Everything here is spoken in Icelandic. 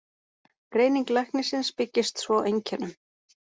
Greining læknisins byggist svo á einkennum.